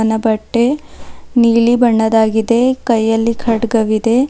ನ ಬಟ್ಟೆ ನೀಲಿ ಬಣ್ಣದ್ದಾಗಿದೆ ಕೈಯಲ್ಲಿ ಖಡ್ಗವಿದೆ.